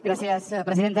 gràcies presidenta